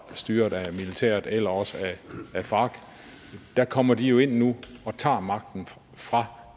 styret af militæret eller også af farc der kommer de jo ind nu og tager magten fra